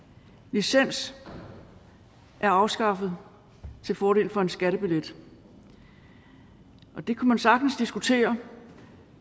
licensen er afskaffet til fordel for en skattebillet det kunne man sagtens diskutere